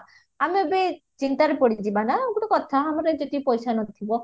ଆମେ ବି ଚିନ୍ତାରେ ପଡିଯିବା ନା ଗୋଟେ କଥା ଆମର ଯଦି ପଇସା ନଥିବା